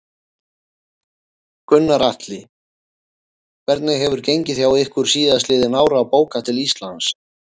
Gunnar Atli: Hvernig hefur gengið hjá ykkur síðastliðin ár að bóka til Íslands?